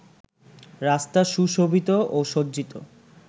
রাস্তা সুশোভিত ও সজ্জিত